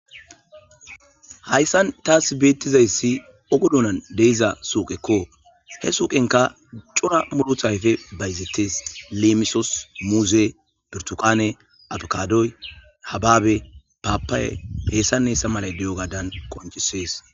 hayssan taas beettizayssi ogodunan deiza suuqekko he suuqenka cora muduthayfe bayzetes leemisos muuze birtuqaane abakadoy hababe paappaye peessaessa malay di7o gaadan qoncisees